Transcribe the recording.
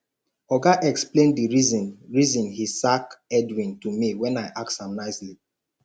oga explain the reason reason he sack edwin to me wen i ask am nicely